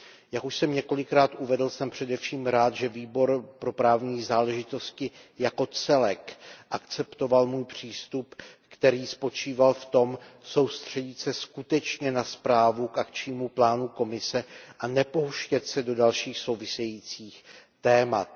Jak už jsem několikrát uvedl, jsem především rád, že Výbor pro právní záležitosti jako celek akceptoval můj přístup, který spočíval v tom soustředit se skutečně na zprávu k akčnímu plánu Komise a nepouštět se do dalších souvisejících témat.